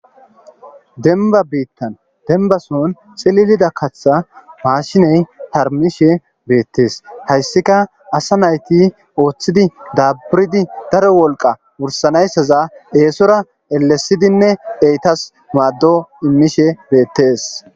denba biittan denibason ciliilida kaththa maashiney harmishe beettees hayssika asa nayti ooththidi daburidi daro wolqa wursanayissaza eesora elesidinne eyitas maaddo imishsh beettes